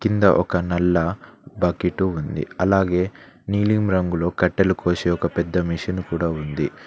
కింద ఒక నల్ల బకెట్ ఉంది అలాగే నీలిమ రంగులో కట్టలు కోసే ఒక పెద్ద మిషన్ కూడా ఉంది.